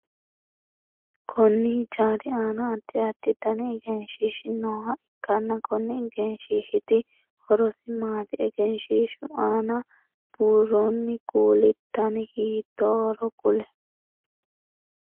Konni hijaari aanna addi addi danni egenshiishi nooha ikanna konni egenshiishiti horosi maati? Egenshiishu aanna buuroonni kuuli danni hiitoohoro kuli?